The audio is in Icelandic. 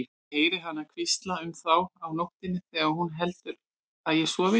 Ég heyri hana hvísla um þá á nóttunni þegar hún heldur að ég sofi.